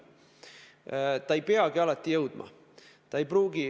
Samas see ei peagi alati jõudma.